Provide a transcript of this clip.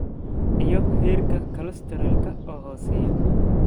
iyo heerka kolestaroolka oo hooseeya,